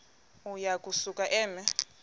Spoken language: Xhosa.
uya kusuka eme